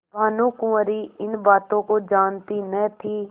भानुकुँवरि इन बातों को जानती न थी